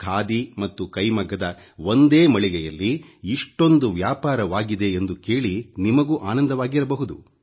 ಖಾದಿ ಮತ್ತು ಕೈಮಗ್ಗದ ಒಂದೇ ಮಳಿಗೆಯಲ್ಲಿ ಇಷ್ಟೊಂದು ವ್ಯಾಪಾರವಾಗಿದೆ ಎಂದು ಕೇಳಿ ನಿಮಗೂ ಆನಂದವಾಗಿರಬಹುದು